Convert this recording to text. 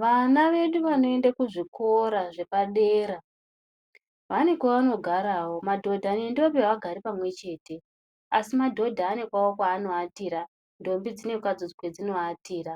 Vana vedu vanoende ku zvikora zvepa dera vane kwavano garawo madhodha ne ndombi avagari pamwe chete asi madhodha ane kwavo kwavano atira ndombi dzine kwadzo kwedzino atira